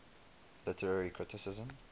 literary criticism